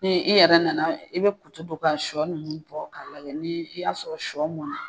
Ni e yɛrɛ nana i bɛ kutu don ka shɔ ninnu bɔ k'a lajɛ ni i y'a sɔrɔ shɔ mɔnna.